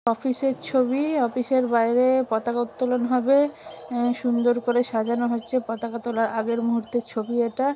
Office -এর ছবি office -এর বাইরে পতাকা উত্তোলন হবে আহ সুন্দর করে সাজানো হচ্ছে পতাকা তোলার আগের মুহূর্তের ছবি এটা।